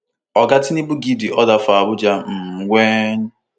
oga tinubu give di order for abuja um wen